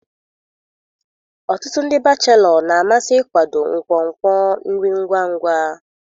Ọtụtụ ndị bachelo na-amasị ịkwado nkwonkwo nri ngwa ngwa.